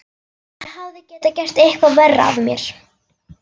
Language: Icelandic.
Ég hefði getað gert eitthvað verra af mér.